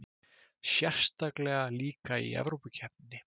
Sérstaklega líka í Evrópukeppninni.